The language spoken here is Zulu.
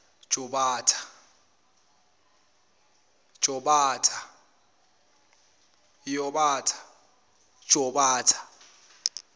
jobatha